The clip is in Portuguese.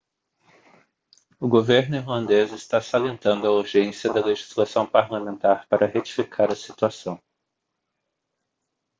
o governo irlandês está salientando a urgência da legislação parlamentar para retificar a situação